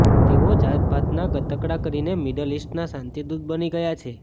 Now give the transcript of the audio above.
તેઓ જાતભાતના ગતકડાં કરીને મિડલ ઇસ્ટના શાંતિદૂત બની ગયા છે